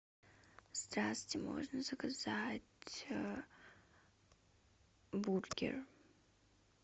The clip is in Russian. здравствуйте можно заказать бургер